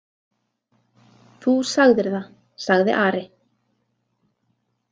Þú sagðir það, sagði Ari.